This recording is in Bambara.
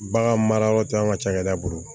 Bagan mara yɔrɔ tɛ an ka cakɛda bolo